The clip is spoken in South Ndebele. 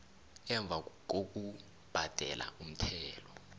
emva ngokubhadela umthelo